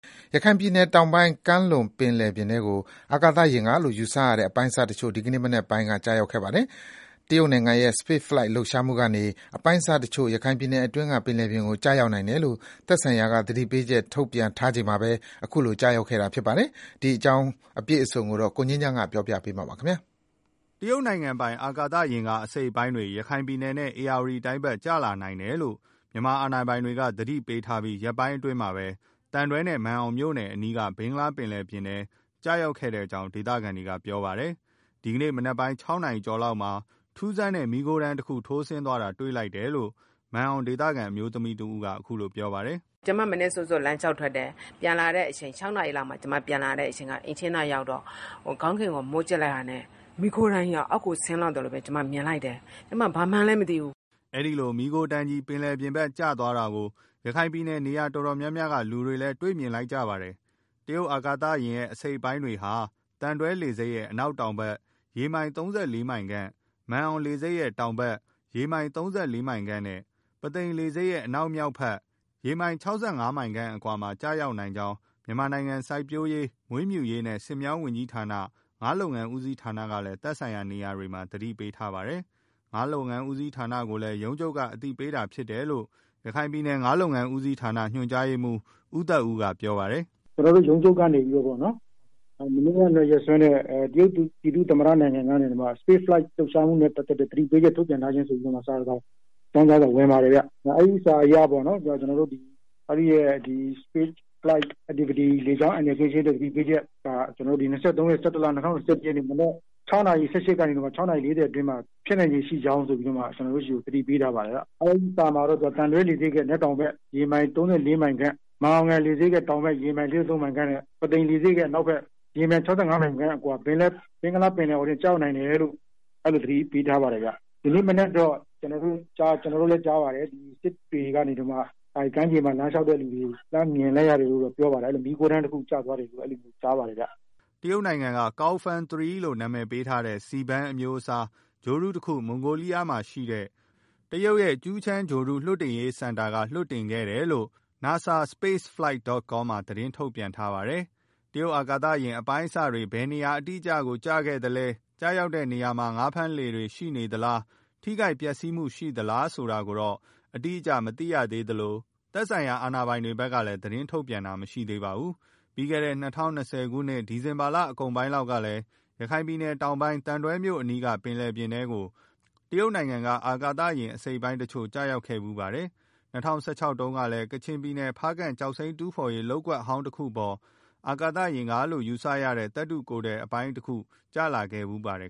ရခိုင်ပြည်နယ်တောင်ပိုင်းကမ်းလွန် ဘင်္ဂလားပင်လယ်ပြင်ထဲကို အာကာသယာဉ်ကလို့ ယူဆရတဲ့ အပိုင်းအစတချို့ ဒီကနေ့မနက်ပိုင်းက ကျရောက်ခဲ့ပါတယ်။ တရုတ်နိုင်ငံရဲ့ Spaceflight လှုပ်ရှားမှုကနေ အပိုင်းအစတစ်ချို့ ရခိုင်ပြည်နယ် အတွင်းက ပင်လယ်ပြင်ကို ကျရောက်နိုင်တယ်လို့ သက်ဆိုင်ရာက သတိပေးချက်ထုတ်ပြန်ထားချိန်မှာပဲ ခုလိုကျရောက်ခဲ့တာဖြစ်ပါတယ်။ ဒီအကြောင်းအပြည့်အစုံ သတင်းပေးပို့ထားချက်ကို ကိုငြိမ်းချမ်းက တင်ပြပေးထားပါတယ်။ တရုတ်နိုင်ငံပိုင် အာကာသယာဉ်က အစိတ်အပိုင်းတွေ ရခိုင်ပြည်နယ်နဲ့ ဧရာဝတီတိုင်းဘက်ကို ကျလာနိုင်တယ်လို့ မြန်မာအာဏာပိုင်တွေ သတိပေးထားပြီး ရက်ပိုင် အတွင်းမှာပဲ သံတွဲနဲ့ မာန်အောင်မြို့နယ်တွေအနီး ဘင်္ဂလားပင်လယ်ပြင်ထဲ ကျရောက်ခဲ့ကြောင်း ဒေသခံတွေက ပြောပါတယ်။ ဒီကနေ့ မနက်ပိုင်း ၆ နာရီကျော်လောက်မှာ ထူးဆန်းတဲ့ မီးခိုးတန်းတခု ထိုးဆင်းသွားတာကို တွေ့လိုက်တယ်လို့ မာန်အောင်ဒေသခံ အမျိုးသမီးတဦးက ခုလိုပြောပြပါတယ်။ “ကျမမနက်စောစော လမ်းလျောက်ထွက်တယ်။ ၆နာရီလောက်မှာ ပြန်လာတော့ အိမ်ရှေ့နားရောက်တော့ ကောင်းကင်ကို မော့ကြည့်လိုက်တာနဲ့ မိုးခိုးတန်းကြီးက အောက်ကို ဆင်းလာသလိုပဲ ကျမမြင်လိုက်တယ်။ ဘာမှန်းလည်းမသိဘူး။” အဲဒီလို မီးခိုးတန်းကြီး ပင်လယ်ပြင်ဘက်ကျသွားတာကို ရခိုင်ပြည်နယ် နေရာတော်တော်များများက လူတွေ မြင်လိုက်ကြရပါတယ်။ တရုတ်အာကာသယာဉ် အပိုင်းအစတွေဟာ သံတွဲလေဆိပ်ရဲ့ အနောက်တောင်ဘက် ရေမိုင် ၃၄ မိုင်ခန့်၊ မာန်အောင်လေဆိပ်ရဲ့ တောင်ဘက်ရေမိုင် ၃၄ မိုင်ခန့်နဲ့ ပုသိမ်လေဆိပ်ရဲ့ အနောက်မြောက်ဘက် ရေမိုင် ၆၅ ခန့်အကွာမှာ ကျရောက်နိုင်ကြောင်း မြန်မာနိုင်ငံ စိုက်ပျိုးရေး မွေးမြူရေးနဲ့ ဆည်မြောင်းဝန်ကြီးဌာန၊ ငါးလုပ်ငန်းဦးစီးဌာနကလည်း သက်ဆိုင်ရာ နေရာတွေမှာ သတိပေးထားပါတယ်။ ငါးလုပ်ငန်းဦးစီးဌာနကိုလည်း ရုံးချုပ်က အသိပေးတာတာဖြစ်တယ်လို့ ရခိုင်ပြည်နယ် ငါးလုပ်ငန်းဦးစီးဌာန ညွန်ကြားရေးမှူး ဦးသက်ဦးက ပြောပြပါတယ်။ “ကျနော်တို့ဆီကိုတော့ ရုံးချုပ်ကနေပြီးတော့ပေါ့နော်။ မနေ့ကရက်စွဲနဲ့ တရုတ် ပြည်သူ့သမ္မတနိုင်ငံက Spaceflight လှုပ်ရှားမှုနဲ့ ပတ်သတ်လို့ သတိပေးချက် ထုတ်ပြန်ထားခြင်း ဆိုပြီးတော့ စာတစောင် အကြောင်းကြားစာဝင်လာတယ်။ လေကြောင်း အန္တရာယ်ကင်းရှင်းရေးစာ ၂၃ ရက်၊ ၁၁ လ၊ ၂၀၂၁ မနက် ၆နာရီ ၁၈ မိနစ်ကလေ။ ၆ နာရီ (မိနစ်) လေးဆယ်အတွင်းမှာ ဖြစ်နိုင်ခြေရှိကြောင်းဆိုပြီး ကျနော်တို့ဆီကို သတိပေးထားပါတယ်။ အဲဒီစာမှာတော့ သံတွဲလေဆိပ်ရဲ့ ရေမိုင် ၃၄ မိုင်ခန့်၊ မာန်အောင်လေဆိပ်ရဲ့ ရေမိုင် ၃၄ မိုင်ခန့်နဲ့ ပုသိမ်လေဆိပ်ရဲ့ အနာက်ဘက် ရေမိုင် ၆၅ မိုင်ခန့်အကွာ ဘင်္ဂလားပင်လယ်အော်အတွင်း ကျရောက်နိုင်တယ်လို့ အဲလို သတိပေးထားပါတယ်ဗျာ။ အဲဒီစာကို ကျနော်တို့ သံတွဲ ကျောက်ဖြူ ခရိုင်ရုံးတွေကနေတဆင့် Email နဲ့ အကြောင်းကြားထားပါတယ်ခင်မျာ။ ဒီနေ့မနက်ကတော့ စစ်တွေကမ်းခြေမှာ လမ်းလျောက်တဲ့လူတွေ မီးခိုးတန်းတခုကျသွားတာကို မြင်လိုက်ရတယ်လို့ ကြားပါတယ်။” တရုတ်နိုင်ငံက Gaofen 3 လို့နာမည်ပေးထားတဲ့ C-band အမျိုးအစား ဂြိုဟ်တုတခု မွန်ဂိုးလီးယားမှာရှိတဲ့ တရုတ်ရဲ့ Jiuquan ဂြိုဟ်တု လွှတ်တင်ရေးစင်တာကနေ လွှတ်တင်ခဲ့တယ်လို့ NASASpaceflight.com မှာသတင်းထုတ်ပြန်ထားပါတယ်။ တရုတ်အာကာသယာဉ်အပိုင်းအစတွေ ဘယ်နေရာ အတိအကျကို ကျခဲ့သလဲ၊ ကျရောက်တဲ့အနေရာမှာ ငါးဖမ်းလှေတွေ ရှိနေသလား၊ ထိခိုက်ပျက်စီးမှု ရှိခဲ့သလားဆိုတာကိုတော့ အတိအကျ မသိရသေးသလို သက်ဆိုင်ရာအာဏာပိုင်တွေ ဖက်ကလည်း သတင်းထုတ်ပြန်ခြင်း မရှိသေးပါဘူး။ ပြီးခဲ့တဲ့ ၂၀၂၀ ခုနှစ် ဒီဇင်ဘာလအကုန်ပိုင်းလောက်ကလည်း ရခိုင်တောင်ပိုင်း သံတွဲမြို့အနီး က ပင်လယ်ပြင်ထဲကို တရုတ်နိုင်ငံက အာသယာဉ်အပိုင်းအစတစ်ချို့ ကျရောက်ခဲ့ဖူးပါတယ်။ ၂၀၁၆ ခုနှစ်တုန်းကလည်း ကချင်ပြည်နယ် ဖားကန့်ကျောက်စိမ်းတူးဖော်ရေး လုပ်ကွက်ဟောင်းတခုအပေါ် အာကာသယာဉ်ကလို့ ယူဆရတဲ့ သတ္တုကိုယ်ထည် အပိုင်းတခု ကျလာခဲ့ဖူးပါတယ်